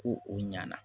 Ko o ɲana